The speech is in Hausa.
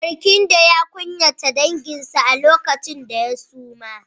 Barkindo ya kunyata danginsa lokacin da ya suma.